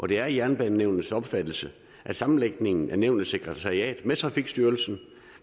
det er jernbanenævnets opfattelse at sammenlægningen af nævnets sekretariat med trafikstyrelsen